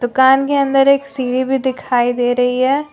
दुकान के अंदर एक सीढ़ी भी दिखाई दे रही है।